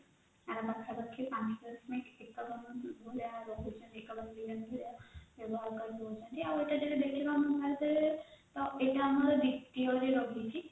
ଆଉ ପାଖ ପାଖି ପାଞ୍ଚ ଦଶମିକ ଭଳିଆ ରହୁଛି ଦଉଛନ୍ତି ଆଉ ଏତ ଯଦି ଆମେ ଦେଖିବା ଏଇଟା ଆମର BPO ରେ ରହିଛି